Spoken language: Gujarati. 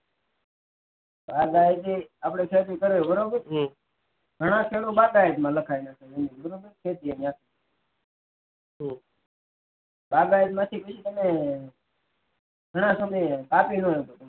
બાગાયતી ખેતી કરવી આપડે બરોબર તો એમાં ખેડૂત બાગાયત માં લખાય બરાબ બાગાયત માં તમે ઘણા સમયે કાપીને